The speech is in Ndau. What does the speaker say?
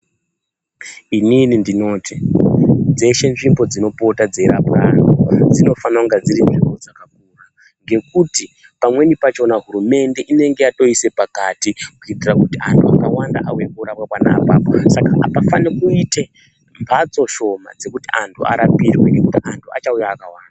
Inini ndinoti dzeshe nzvimbo dzinopota dzeirapwa anhu dzinofana kunge dziri nzvimbo dzakakura, ngekuti pamweni pachona hurumende inenge yatoise pakati kuitira kuti antu akawanda auye korapwa pona apapo, Saka hapafani kuite mbatso shoma dzekuti antu arapirwe nekuti antu achauya akawanda.